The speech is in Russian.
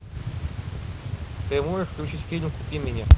ты можешь включить фильм купи меня